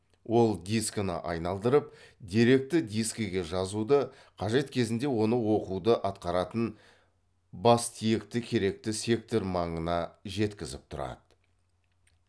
ол дискіні айналдырып деректі дискіге жазуды қажет кезінде оны оқуды атқаратын бастиекті керекті сектор маңына жеткізіп тұрады